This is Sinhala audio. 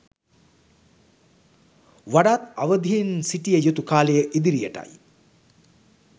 වඩාත් අවදියෙන් සිටිය යුතු කාලය ඉදිරියටයි.